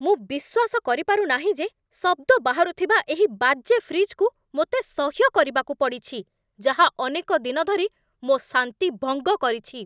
ମୁଁ ବିଶ୍ୱାସ କରିପାରୁ ନାହିଁ ଯେ ଶବ୍ଦ ବାହାରୁଥିବା ଏହି ବାଜେ ଫ୍ରିଜ୍‌କୁ ମୋତେ ସହ୍ୟ କରିବାକୁ ପଡ଼ିଛି, ଯାହା ଅନେକ ଦିନ ଧରି ମୋ ଶାନ୍ତି ଭଙ୍ଗ କରିଛି!